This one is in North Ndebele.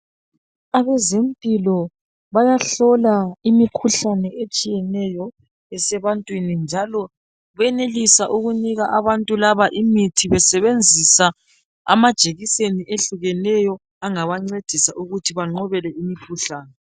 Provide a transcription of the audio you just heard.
Abezempilo bayahlola imikhuhlane etshiyeneyo esebantwini njalo benelisa ukunika abantu laba imithi besebenzisa amajekiseni ehlukeneyo angabancedisa ukuthi bangqobe le imikhuhlane.